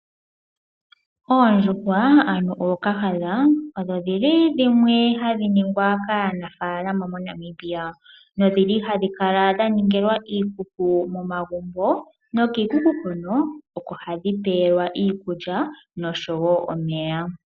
Oondjuhwa ano ookahadha odho dhili dhimwe hadhi ningwa kaanafalama moNamibia, nodhili hadhi kala dhaningilwa iikuku momagumbo, nokiikuku hono oko hadhi pewelwa iikulya nosho woo omeya.